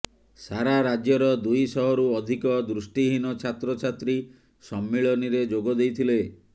ସାରା ରାଜ୍ୟର ଦୁଇ ଶହରୁ ଅଧିକ ଦୃଷ୍ଟିହୀନ ଛାତ୍ରଛାତ୍ରୀ ସମ୍ମିଳନୀରେ ଯୋଗ ଦେଇଥିଲେ